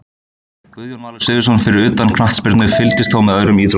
Guðjón Valur Sigurðsson Fyrir utan knattspyrnu, fylgist þú með öðrum íþróttum?